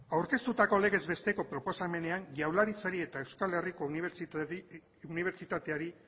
aurkeztutako legez besteko proposamenean jaurlaritzari eta euskal herriko unibertsitateari